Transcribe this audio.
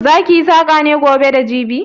Za ki yi saƙa ne gobe da jibi?